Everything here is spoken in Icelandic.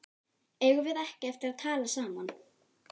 Eigum við ekki eftir að tala saman?